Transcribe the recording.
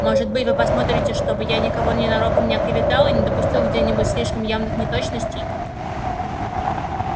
может быть вы посмотрите чтобы я никого ненароком не оклеветал и не допустил где-нибудь слишком явных неточностей